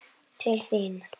Til þín